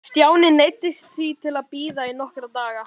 Stjáni neyddist því til að bíða í nokkra daga.